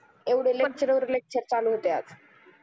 एवढे lecture वर lecture चालू होते आज